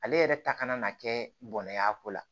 Ale yɛrɛ ta kana kɛ bɔnɛ ye a ko la